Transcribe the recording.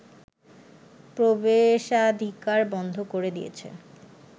প্রবেশাধিকার বন্ধ করে দিয়েছে